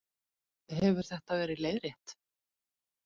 Hefur þetta verið leiðrétt